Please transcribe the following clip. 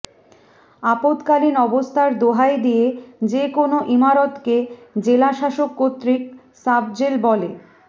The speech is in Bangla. আপদকালীন অবস্থার দোহাই দিয়ে যে কোনো ইমারতকে জেলা শাসক কর্তৃক সাবজেল বলে